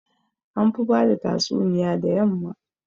An fi bada tatsuniya da yamma